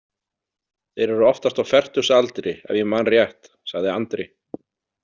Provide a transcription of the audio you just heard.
Þeir eru oftast á fertugsaldri ef ég man rétt, sagði Andri.